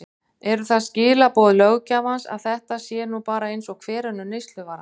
Eru það skilaboð löggjafans að þetta sé nú bara eins og hver önnur neysluvara?